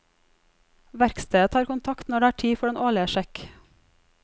Verkstedet tar kontakt når det er tid for den årlige sjekk.